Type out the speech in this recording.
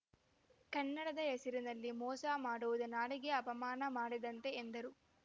ಕನ್ನಡದ ಹೆಸರಿನಲ್ಲಿ ಮೋಸ ಮಾಡುವುದು ನಾಡಿಗೆ ಅಪಮಾನ ಮಾಡಿದಂತೆ ಎಂದರು